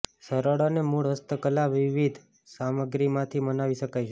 સરળ અને મૂળ હસ્તકલા વિવિધ સામગ્રીમાંથી બનાવી શકાય છે